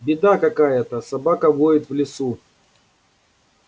беда какая-то собака воет в лесу